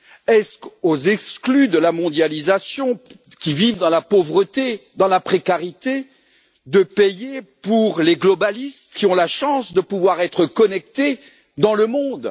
Est ce aux exclus de la mondialisation, qui vivent dans la pauvreté et la précarité, de payer pour ceux qui en bénéficient, qui ont la chance de pouvoir être connectés dans le monde?